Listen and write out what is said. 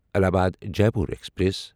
Allahabad Jaipur express